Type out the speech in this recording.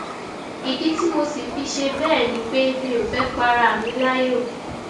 ìdí tí mo sì fi ṣe bẹẹ ni pé mi ò fẹẹ para mi láyọ